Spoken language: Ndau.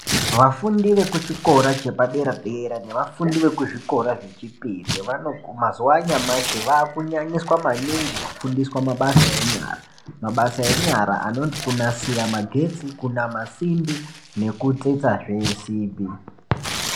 Vafundi vekuchikora chepadera dera nevafundi vekuzvikora zvechipiri vanoguma . Mazuva anyamashi vakunyanyiswa maningi kufundiswa enyara, mabasa enyara anoti kunasira magetsi ,kunama simbi nekutsetsa zvesimbi .